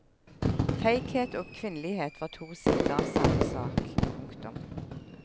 Feighet og kvinnelighet var to sider av samme sak. punktum